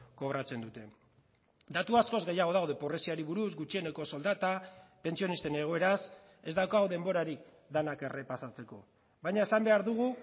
kobratzen dute datu askoz gehiago daude pobreziari buruz gutxieneko soldata pentsionisten egoeraz ez daukagu denborarik denak errepasatzeko baina esan behar dugu